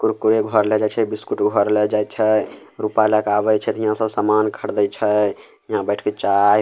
कुरकुरे घर लेए जाय छै बिस्कुट घर लेए जाय छै रूपा लेए के आवे छै ते हीया सब सामान खरीदे छै हीया बैठ के चाय --